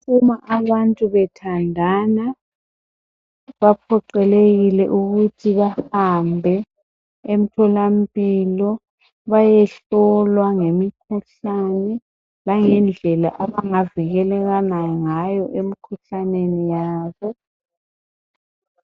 Uma abantu bethandana baphoqelekile ukuthi bahambe emtholampilo bayehlolwa ngemkhuhlane langendlela abangavikelana ngayo emikhuhlaneni yabo.